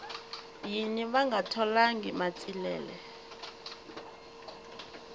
yini va nga tholangi matsilele